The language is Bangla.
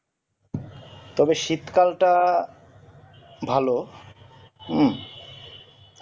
তবে শীত কালটা ভালো হু